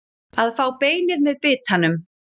Að fá beinið með bitanum